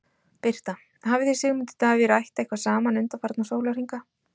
Birta: Hafið þið Sigmundur Davíð rætt eitthvað saman undanfarna sólarhringa?